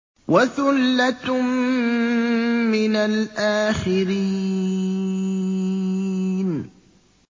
وَثُلَّةٌ مِّنَ الْآخِرِينَ